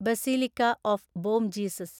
basilica of Bom Jesus